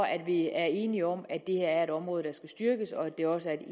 at vi er enige om at det her er et område der skal styrkes og at det også